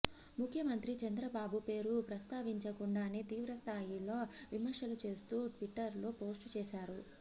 ముఖ్యమంత్రి చంద్రబాబు పేరు ప్రస్థావించకుండానే తీవ్ర స్థాయిలో విమర్శలు చేస్తూ ట్విట్టర్ లో పోస్టు చేశారు